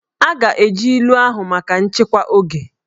A ga-eji ilu ahụ maka nchịkwa oge